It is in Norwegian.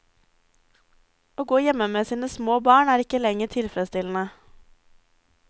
Å gå hjemme med små barn er ikke lenger tilfredsstillende.